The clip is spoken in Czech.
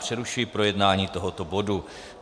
Přerušuji projednávání tohoto bodu.